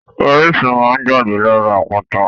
Orísun máa n jáde lára àpáta.